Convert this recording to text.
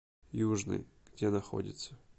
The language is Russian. южный где находится